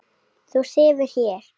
Þú sefur hér.